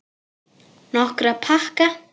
Nokkra pakka.